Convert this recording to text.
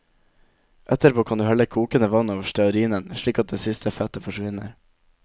Etterpå kan du helle kokende vann over stearinen, slik at det siste fettet forsvinner.